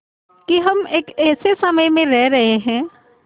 कि हम एक ऐसे समय में रह रहे हैं